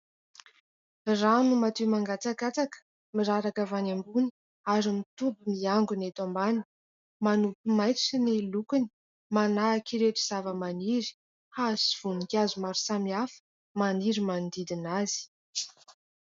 Rano madio mangatsakatsaka, miraraka avy any ambony ary mitoby miangona eto ambany. Manopy maitso ny lokony manahaka ireto zavamaniry, hazo sy voninkazo maro samihafa maniry manodidina azy.